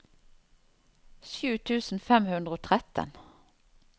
sju tusen fem hundre og tretten